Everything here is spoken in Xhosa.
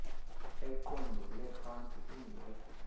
eqondele phantsi kungekho